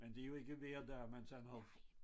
Men det jo ikke hver dag man sådan har